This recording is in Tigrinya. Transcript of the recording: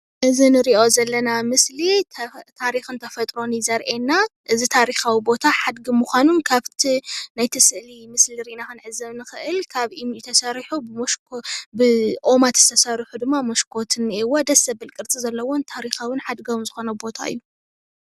እዚ ንሪኦ ዘለና ምስሊ ታሪኽን ተፈጥሮን እዪ ዘርእየና። እዚ ታሪኻዊ ቦታ ሓድጊ ምኻኑን ካብቲ ናይቲ ስእሊ ምስሊ ርኢና ክንዕዘብ ንኽእል ካብ እምኒ ተሰሪሑ ብኦማት ዝተሰርሑ ድማ መስኮት እኒኤዎ። ደስ ዘብል ቅርፂ ዘለዎን ታሪኻዉን ሓድጋዉን ዝኾነ ቦታ እዪ ።